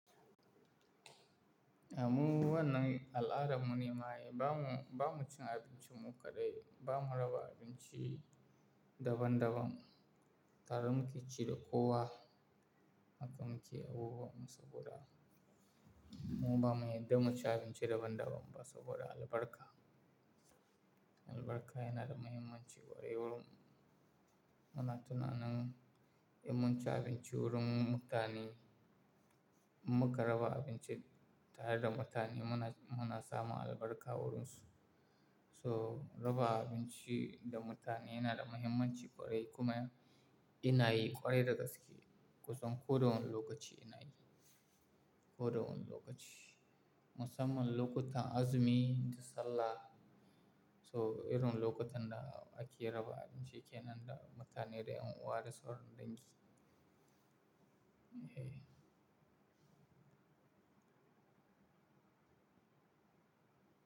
Amma wanan al'ada mun nima ba mu, ba mu cin abinci mu kaɗai, ba mu raba abinci daban-daban. Tara muke cire kowa, haka muke abubuwa musa godar. Mu ba mu yarda mu ci abinci daban-daban ba saboda albarka. Albarka yana da muhimmanci ƙwarai wurin. Mana tunanin idan mun ci abinci wurin mutane, mun ka raba abinci tare da mutane muna, muna samun albarka wurinsu. So raba abinci da mutane yana da muhimmanci ƙwarai kuma yana yi ƙwarai da gaske. Kusan ko da wane lokaci yana yi, ko da wane lokaci. Musamman lokutan azumi da sallah. So irin lokutan da ake raba abinci ke nan da mutane dai an ware sauran dangi. Eh.